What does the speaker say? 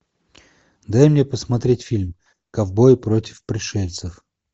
дай мне посмотреть фильм ковбои против пришельцев